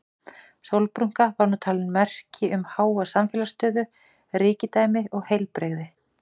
Sólbrúnka var nú talin merki um háa samfélagslega stöðu, ríkidæmi og heilbrigði.